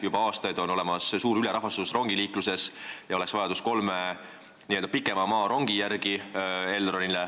Juba aastaid on suur ülerahvastatus rongiliikluses ja Elronil oleks vaja kolme n-ö pikamaarongi.